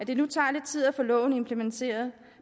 det nu tager lidt tid at få loven implementeret